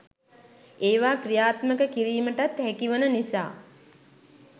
ඒවා ක්‍රියාත්මක කිරීමටත් හැකි වන නිසා